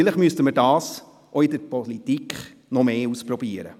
Vielleicht müssten wir das auch in der Politik mehr ausprobieren.